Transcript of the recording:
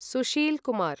Sushil Kumar